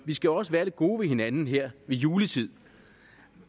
vi skal også være lidt gode ved hinanden her ved juletid